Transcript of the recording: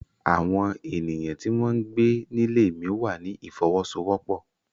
Àwọn ènìyàn tí wọ́n ń gbé nílé mí wà ní ìfọwọ́sowọ́pọ̀.